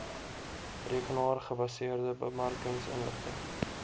rekenaar gebaseerde bemarkingsinligting